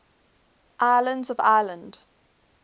islands of ireland